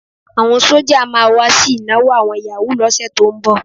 Àwọn sọ́jà máa wá sí ìnáwó àwọn yàwúù lọ́sẹ̀ tó ń bọ̀.